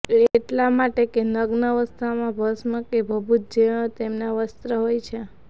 એ એટલા માટે કે નગ્ન અવસ્થામાં ભસ્મ કે ભભૂત જ તેમના વસ્ત્ર હોય છે